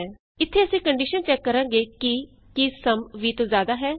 ਇਥੇ ਅਸੀਂ condition check ਕਰਾਂਗੇ ਕਿ ਕੀ ਸਮ 20 ਤੋਂ ਜਿਆਦਾ ਹੈ